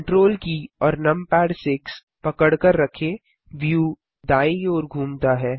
Ctrl की और numpad 6 पकड़कर रखें व्यू दायीं ओर घूमता है